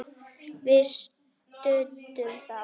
Við studdum þá!